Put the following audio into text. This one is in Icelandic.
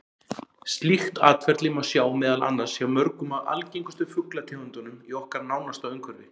Slíkt atferli má sjá meðal annars hjá mörgum af algengustu fuglategundunum í okkar nánasta umhverfi.